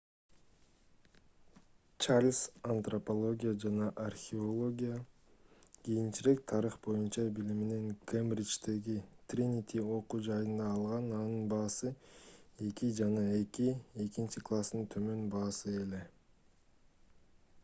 чарльз антропология жана археология кийинчерээк тарых боюнча билимин кембриждеги тринити окуу жайында алган анын баасы 2:2 экинчи класстын төмөн баасы эле